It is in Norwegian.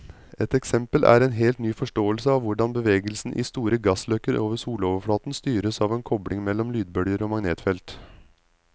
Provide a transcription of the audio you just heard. Et eksempel er en helt ny forståelse av hvordan bevegelsen i store gassløkker over soloverflaten styres av en kobling mellom lydbølger og magnetfeltet.